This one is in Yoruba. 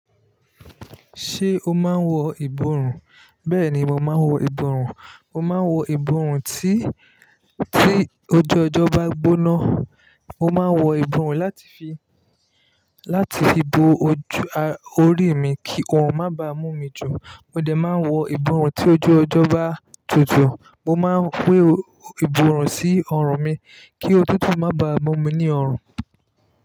Ṣé o máa ń wọ ìborùn? Bẹ́ẹ̀ni, mo máa ń wọ ìborùn. Mo máa ń wọ ìborùn tí, tí ojú ọjọ́ bá gbóná. Mo máa ń wọ ìborùn láti fi, láti fi bo ojú a-- orí mi kí ọorùn má ba mú mi jù. Mo dẹ̀ máa ń wọ ìborùn tí ojú ọjọ́ bá tutù. Mo máa ń wé ìborùn sí ọrùn mi kí òtútù má ba mú mi ní ọrùn.